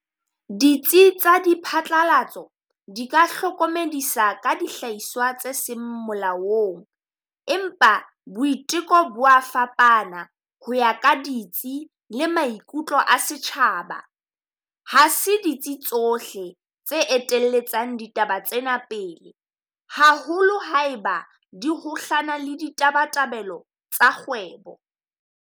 Ditsi tsa di phatlalatso di ka hlokomedisa ka dihlahiswa tse seng molaong. Empa boiteko bo wa fapana ho ya ka ditsi le maikutlo a setjhaba. Ha se ditsi tsohle tse etelletsang ditaba tsena pele, haholo ha e ba di kgohlano le ditabatabelo tsa kgwebo.